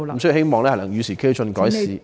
所以希望能與時俱進，改善法例。